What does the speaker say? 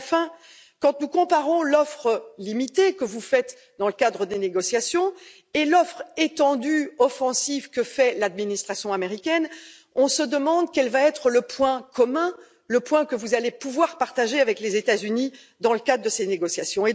Et enfin, quand nous comparons l'offre limitée que vous faites dans le cadre des négociations et l'offre étendue et offensive que fait l'administration américaine, on se demande quel va être le point commun, le point que vous allez pouvoir partager avec les États Unis dans le cadre de ces négociations.